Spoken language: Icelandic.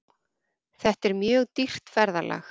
Þetta er mjög dýrt ferðalag.